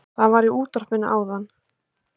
Það var í útvarpinu áðan